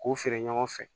K'u feere ɲɔgɔn fɛ